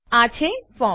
આ છે ફોર્મ